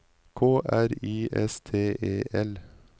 K R I S T E L